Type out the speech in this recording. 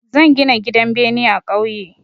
Zan gina gidan bene a ƙauye.